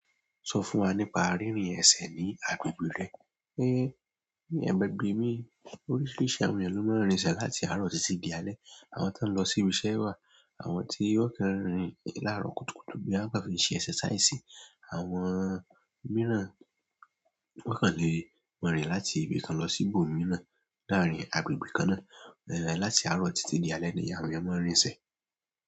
Sọ fún wa nípa rírin ẹsẹ̀ ní agbègbè rẹ. Ní agbègbè mi oríṣiríṣi àwọn ènìyàn ló máa ń rín ẹsẹ̀ láti àárọ̀ títí di alé. Àwọn tó ń lọ sí ibiṣẹ́ wà, àwọn tí ó kán rìn láàárọ̀ kùtùkùtù boya wọ́n kan fi n ṣe exercise, àwọn mìíràn wón kàn leè ma rìn láti ibi kan lọ sí ibòmíràn láàrín agbègbè kan náà. Láti àárọ̀ títí di alé ni àwọn ènìyàn máa ń rín ẹsẹ̀.